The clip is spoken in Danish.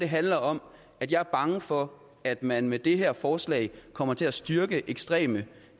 handler om at jeg er bange for at man med det her forslag kommer til at styrke ekstreme